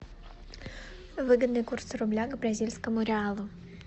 выгодный курс рубля к бразильскому реалу